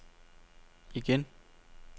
igen